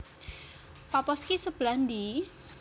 Paphos ki sebelah ndi?